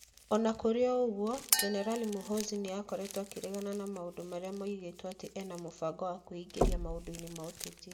O na kũrĩ ũguo, Jenerali Muhoozi nĩ akoretwo akĩregana na maũndũ marĩa moigĩtwo atĩ ena mĩbango ya kwĩingĩria maũndũ-inĩ ma ũteti.